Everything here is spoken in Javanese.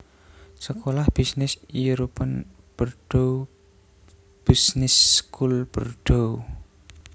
Sekolah bisnis European Bordeaux Business School Bordeaux